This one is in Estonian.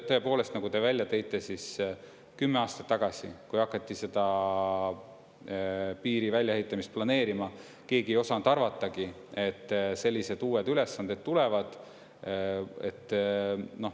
Tõepoolest, nagu te välja tõite, kümme aastat tagasi, kui hakati piiri väljaehitamist planeerima, keegi ei osanud arvatagi, et sellised uued ülesanded tulevad.